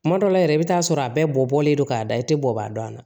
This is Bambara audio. Kuma dɔw la yɛrɛ i bɛ taa sɔrɔ a bɛɛ bɔlen don k'a da i tɛ bɔ a dɔn na